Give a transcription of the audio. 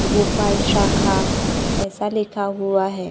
गोपाल शाखा ऐसा लिखा हुआ है।